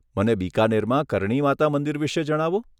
મને બીકાનેરમાં કર્ણી માતા મંદિર વિશે જણાવો.